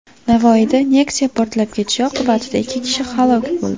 Navoiyda Nexia portlab ketishi oqibatida ikki kishi halok bo‘ldi.